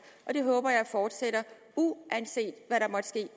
det håber jeg fortsætter uanset